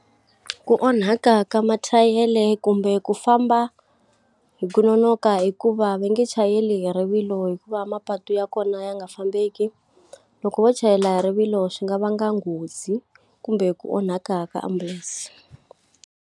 Ku onhaka ka mathayere kumbe ku famba hi ku nonoka hikuva va nge chayela hi rivilo hikuva mapatu ya kona ya nga fambeki. Loko vo chayela hi rivilo swi nga vanga nghozi, kumbe ku onhaka ka ambulense.